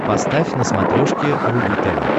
поставь на смотрешке рубль тв